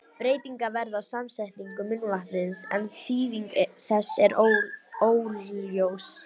Breytingar verða á samsetningu munnvatnsins, en þýðing þess er óljós.